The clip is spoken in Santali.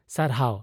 ᱥᱟᱨᱦᱟᱣ !